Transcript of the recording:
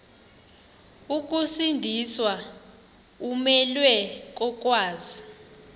ukusindiswa umelwe kokwazi